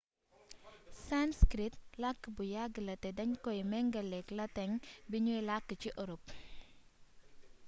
sanskrit làkk bu yàgg la te dañ koy méngaléek lateŋ buñuy làkk ci orop